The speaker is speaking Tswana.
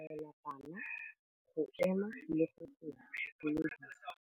Morutabana o tla laela bana go ema le go go dumedisa.